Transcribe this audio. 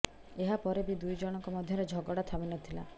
ଏହା ପରେ ବି ଦୁଇଜଣଙ୍କ ମଧ୍ୟରେ ଝଗଡ଼ା ଥମି ନ ଥିଲା